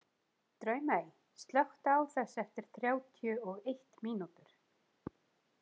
Draumey, slökktu á þessu eftir þrjátíu og eitt mínútur.